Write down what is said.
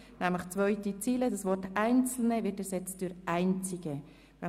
In der zweiten Zeile wird das Wort «einzelne» durch «einzige» ersetzt, sodass es nun heisst, «[…